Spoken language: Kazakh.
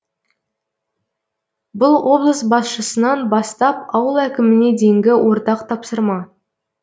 бұл облыс басшысынан бастап ауыл әкіміне дейінгі ортақ тапсырма